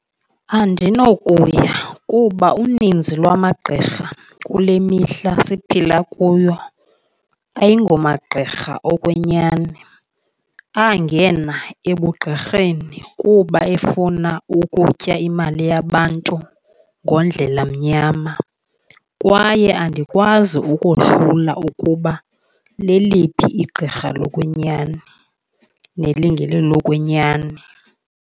Andinokuya kuba uninzi lwamagqirha kule mihla siphila kuyo ayingomagqirha okwenyani, angena ebugqirheni kuba efuna ukutya imali yabantu ngondlela mnyama. Kwaye andikwazi ukohlula ukuba leliphi igqirha lokwenyani nelingelilo lokwenyani.